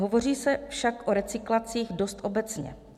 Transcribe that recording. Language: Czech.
Hovoří se však o recyklacích dost obecně.